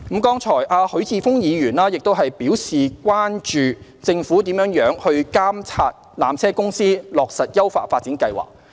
剛才許智峯議員表示關注政府如何監察纜車公司落實優化發展計劃。